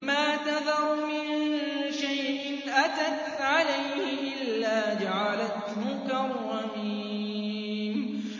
مَا تَذَرُ مِن شَيْءٍ أَتَتْ عَلَيْهِ إِلَّا جَعَلَتْهُ كَالرَّمِيمِ